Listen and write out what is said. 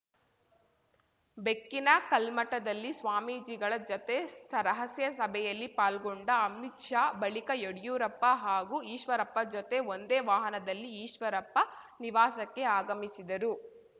ಬೆಕ್ಕಿನಕಲ್ಮಠದಲ್ಲಿ ಸ್ವಾಮೀಜಿಗಳ ಜೊತೆ ರಹಸ್ಯ ಸಭೆಯಲ್ಲಿ ಪಾಲ್ಗೊಂಡ ಅಮಿತ್‌ ಶಾ ಬಳಿಕ ಯಡಿಯೂರಪ್ಪ ಹಾಗೂ ಈಶ್ವರಪ್ಪ ಜೊತೆ ಒಂದೇ ವಾಹನದಲ್ಲಿ ಈಶ್ವರಪ್ಪ ನಿವಾಸಕ್ಕೆ ಆಗಮಿಸಿದರು